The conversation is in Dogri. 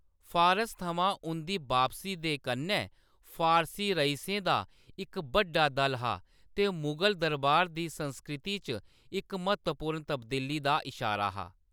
फारस थमां उंʼदी बापसी दे कन्नै फारसी रइसें दा इक बड्डा दल हा ते मुगल दरबार दी संस्कृति च इक म्हत्तवपूर्ण तब्दीली दा इशारा हा।